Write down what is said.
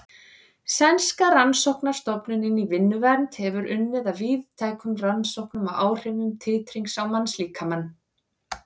Sænska rannsóknastofnunin í vinnuvernd hefur unnið að víðtækum rannsóknum á áhrifum titrings á mannslíkamann.